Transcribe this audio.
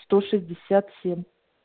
сто шестьдесят семь